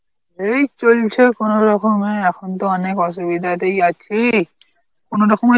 এই চলছে কোন রকমে, এখন তো অনেক অসুবিধাতেই আছি. কোন রকমে